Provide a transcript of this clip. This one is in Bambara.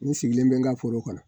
N sigilen bɛ n ka foro kɔnɔ